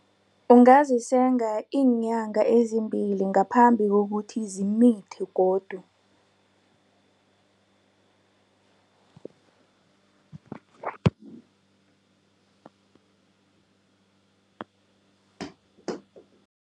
Ungazisenga iinyanga ezimbili ngaphambi kokuthi zimithe godu.